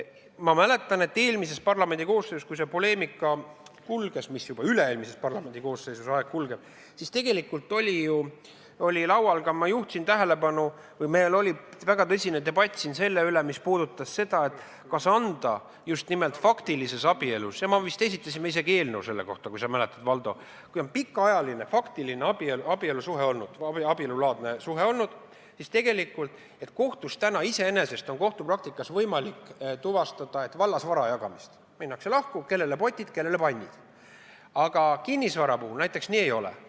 Ma mäletan, et eelmises parlamendikoosseisus, kui see poleemika kulges – see oli juba üle-eelmises parlamendikoosseisus, aeg läheb ruttu –, oli laual, ma juhtisin sellele tähelepanu ja oli väga tõsine debatt selle üle, me vist esitasime isegi eelnõu selle kohta, kui sa mäletad, Valdo, et kui on olnud pikaajaline faktiline abielusuhe või abielulaadne suhe, siis kohtus on iseenesest võimalik tuvastada vallasvara jagamist, minnakse lahku, ja on selge, kellele jäävad potid, kellele pannid, aga kinnisvara puhul nii ei ole.